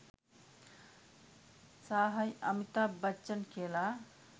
සාහයි අමිතාබ් බච්චන් කියලා.